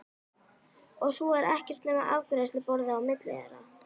Og svo er ekkert nema afgreiðsluborðið á milli þeirra.